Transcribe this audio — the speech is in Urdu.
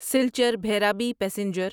سلچر بھیرابی پیسنجر